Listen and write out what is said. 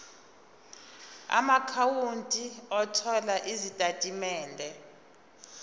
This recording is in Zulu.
amaakhawunti othola izitatimende